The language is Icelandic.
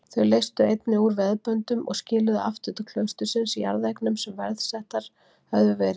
Þau leystu einnig úr veðböndum og skiluðu aftur til klaustursins jarðeignum sem veðsettar höfðu verið.